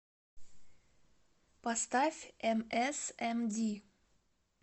поставь эмэсэмди